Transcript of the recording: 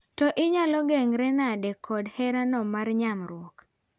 To inyalo geng're nade koda hera no mar nyamruok?